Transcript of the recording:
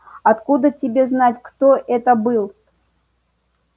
откуда тебе знать кто это был